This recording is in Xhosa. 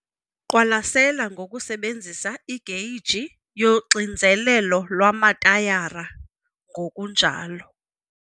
Qwalasela ngokusebenzisa igeyiji yoxinzelelo lwamatayara, ngokunjalo